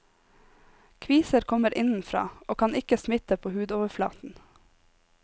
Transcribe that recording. Kviser kommer innenfra og kan ikke smitte på hudoverflaten.